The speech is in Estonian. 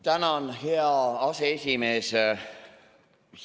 Tänan, hea aseesimees!